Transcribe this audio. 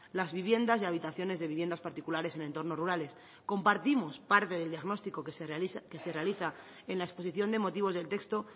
las viviendas y habitaciones de viviendas particulares en entornos rurales compartimos parte del diagnóstico que se realiza en la exposición de motivos del texto